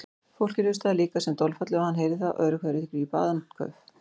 Fólkið hlustaði líka sem dolfallið og hann heyrði það öðru hverju grípa andköf.